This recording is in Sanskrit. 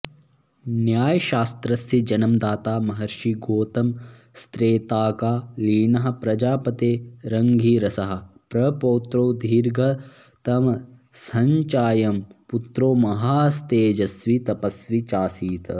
न्यायशास्त्रस्य जन्मदाता महषिर्गोतमस्त्रेताकालीनः प्रजापते रङ्गिरसः प्रपौत्रो दीर्घतमसश्चायं पुत्रो महांस्तेजस्वी तपस्वी चासीत्